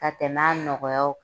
Ka tɛmɛ a nɔgɔyaw